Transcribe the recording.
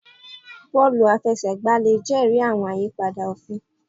Bọọlu àfẹsẹ̀gbá le jẹri àwọn ìyípadà òfin